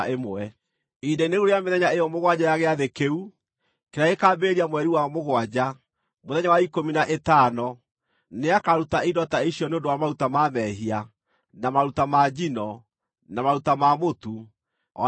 “ ‘Ihinda-inĩ rĩu rĩa mĩthenya ĩyo mũgwanja ya Gĩathĩ kĩu, kĩrĩa gĩkaambĩrĩria mweri wa mũgwanja, mũthenya wa ikũmi na ĩtano, nĩakaruta indo ta icio nĩ ũndũ wa maruta ma mehia, na maruta ma njino, na maruta ma mũtu, o na ma maguta.